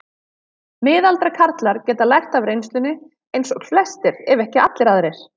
Miðaldra karlar geta lært af reynslunni eins og flestir ef ekki allir aðrir.